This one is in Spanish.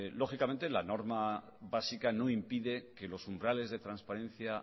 lógicamente la norma básica no impide que los umbrales de transparencia